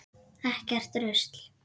Ekkert rusl.